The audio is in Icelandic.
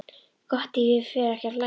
Gott ef ég fer ekki að hlæja.